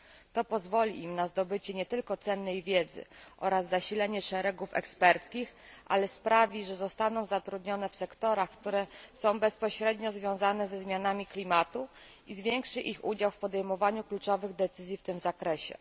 To pozwoli im na zdobycie nie tylko cennej wiedzy oraz zasilenie szeregów eksperckich, ale sprawi, że zostaną zatrudnione w sektorach, które są bezpośrednio związane ze zmianami klimatu, i zwiększy ich udział w podejmowaniu kluczowych decyzji w tym zakresie.